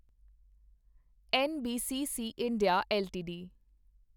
NBCC India LTD